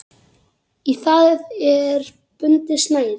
Í það er bundið snæri.